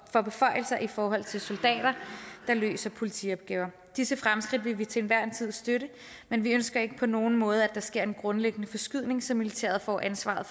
får beføjelser i forhold til soldater der løser politiopgaver disse fremskridt vil vi til enhver tid støtte men vi ønsker ikke på nogen måde at der sker en grundlæggende forskydning så militæret får ansvaret